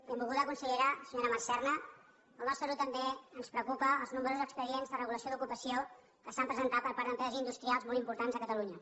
benvolguda consellera senyora mar serna al nostre grup també ens preocupa els nombrosos expedients de regulació d’ocupació que s’han presentat per part d’empreses industrials molt importants a catalunya